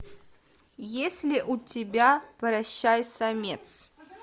есть ли у тебя прощай самец